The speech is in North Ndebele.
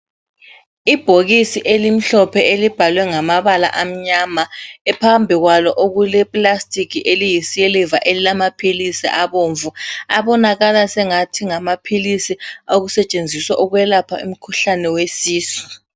Ibhokisi elimhlophe elibhalwe ngamabala amnyama phambikwalo okuleplastic eliyi siliva elilamaphisi abomvu, abonakala sengathi ngamaphilisi okusetshenziswa ukwelapha umkhuhlane wesisu.